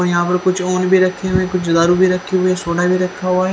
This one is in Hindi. यहां पर कुछ भी रहे हुए कुछ दारू रहे हुए सोडा भी रखा हुआ है।